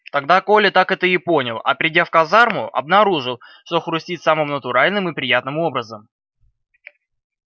тогда коля так это и понял а придя в казарму обнаружил что хрустит самым натуральным и приятным образом